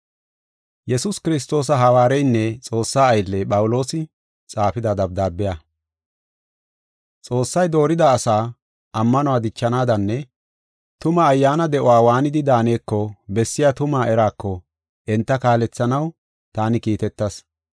Yesuus Kiristoosa hawaareynne Xoossa aylley, Phawuloosi, xaafida dabdaabiya. Xoossay doorida asaa ammanuwa dichanaadanne tuma ayyaana de7uwa waanidi daaneko bessiya tumaa eraako enta kaalethanaw taani kiitetas.